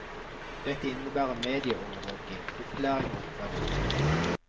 Dette innebærer mediaovervåking, opplæring og oppfølging.